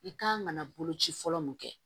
I kan ka na boloci fɔlɔ min kɛ